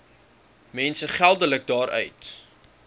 mense geldelik daaruit